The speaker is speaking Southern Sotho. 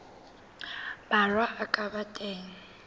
borwa a ka ba teng